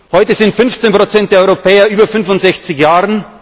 Heute sind 15 der Europäer über 65 Jahre.